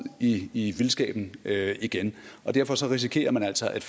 i vildskaben igen og derfor risikerer man altså at